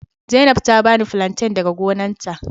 Zainab ta bani flanten daga gonarta.